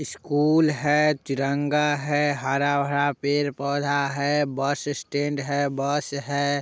School है तिरंगा है हरा-भरा पेड़ पोधा है बस स्टेंड है बस है।